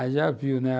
Aí já viu, né?